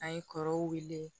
An ye kɔrɔw wele